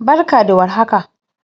Barka da warka!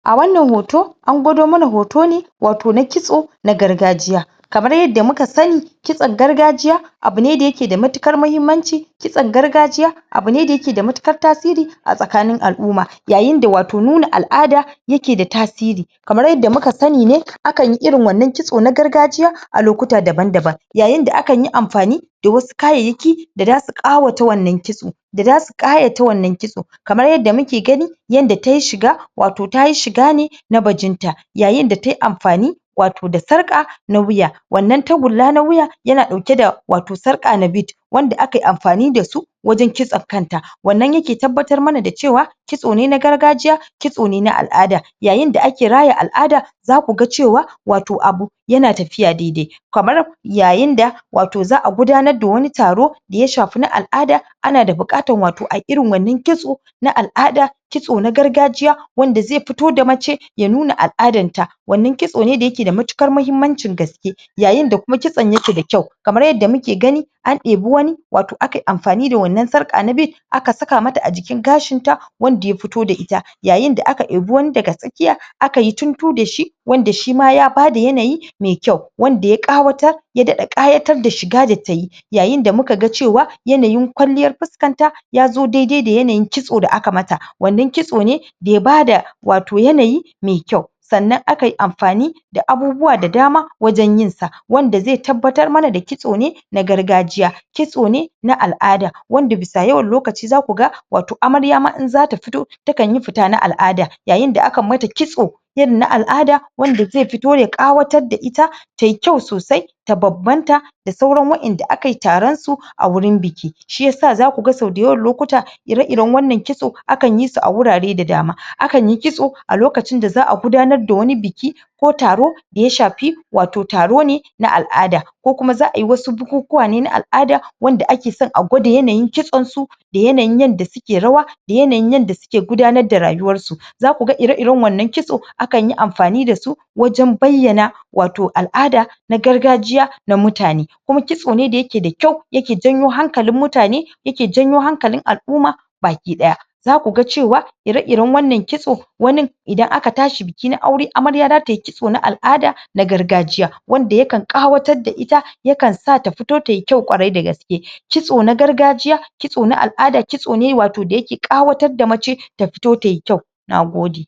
A wannan hoto, an gwado muna hoto ne wato na kitso na gargajiya. Kamar yadda muka sani kitson gargajiya abu ne da ya ke da muhimmanci, kitson gargajiya abu ne da ya ke da matuƙar tasiri a tsakanin al'umma. Yayin da wato nuna al'ada ya ke da tasiri. Kamar yadda muka sani ne akan yi irin wannan kitso na gargaji a lokuta daban-daban. Yayin da akan yi amfani da wasu kayayyaki da za su ƙawata wannan kitso, da za su ƙayawata wannan kitso. Kamar yadda muke gani yanda tayi shiga, wato tayi shiga ne na bajinta. Yayin da tayi amfani wato da sarƙa na wuya. Wannan tagulla na wuya ya na ɗauke da wato sarƙa nabil wanda aka yi amfani da su wajen kitson kanta. Wannan yake tabbatar mana da cewa kitso ne na gargajiya, kitso ne na al'ada. Yayin da ake raya al'ada za ku ga cewa wato abu ya na tafiya dai-dai. Kamar yayin da wato za'a gudanar wani taro da ya shafi na al'ada, ana da buƙatar wato ayi irin wanan kitso na al'ada, kitso na gargajiya, wanda zai fito da mace ya nuna al'adan ta. Wannan kitso ne da ya ke da matuƙar mahimmancin gaske. Yayin da kuma kitson ya ke da kyau, kamar yadda muke gani an ɗebi wani wato aka yi amfani da wannan sarƙa nabil aka saka mata a jikin gashin ta wanda ya fito da ita. Yayin da aka ibi wani daga tsakiya aka yi tuntu da shi wanda shi ma ya bada yanayi mai kyau. Wanda ya ƙawatar ya daɗa ƙayatar da shi ga da tayi. Yayin da muka ga cewa yanayin kwalliyar fuskar ta ya zo dai-dai da yanayin kitso da aka mata. Wanna kitso ne da ya bada wato yanayi mai kyau. Sannan aka yi amfani da abubuwa da dama waje yin sa. Wanda zai tabbatar mana da kitso ne gargajiya. Kitso ne na al'ada, wanda bisa yawan lokaci za ku ga wato amarya ma in za ta fito takan yi fita na al'ada. Yayin da akan ma ta kitso irin na al'ada wanda zai fito ya ƙawatar da ita, tayi kyau sosai ta bam-banta da sauran waƴanda aka yi taron su a wurin biki. Shi yasa za ku ga sau da yawan lokuta ire-iren wannan kitso akan yi su a wurare da dama. Akan yi kitso a lokcin da za'a gudanar da wani biki ko taro da shafi wato taro ne na al'ada, ko kuma za'a yi wasu bukuwa ne na al'ada, wanda ake son a gwada yanayin kitson su, da yanayin yanda suke rawa da yanayin yanda suke gudanar da rayuwar su. za ku ga ire-iren wannan kitso akan yi amfani da su wajen bayyana wato al'ada na gargajiya na mutane. Kuma kitso ne da ya ke da kyau, ya ke janyo hankali mutane ya ke janyo hankalin al'umma baki ɗaya. Za ku ga cewa ire-iren wannan kitso wani idan aka tashi biki na aure amarya za ta yi kitso na al'ada, na gargajiya, wanda yakan ƙawatar da ita, yakan sa ta fito tayi kyau ƙwarai da gaske. Kitso na gargajiya, kitso na al'ada, kitso ne wato da yake ƙawatar da mace ta fito tayi kyau. Nagode!